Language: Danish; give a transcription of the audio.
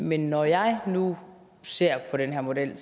men når jeg nu ser på den her model